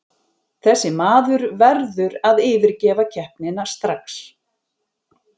Þessi maður verður að yfirgefa keppnina strax.